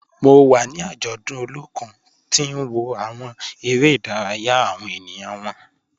Mo wa ni ajọdun Olokun ti n wo awọn ere-idaraya awọn eniyan wọn.